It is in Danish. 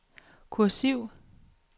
kursiv